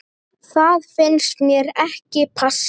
Það finnst mér ekki passa.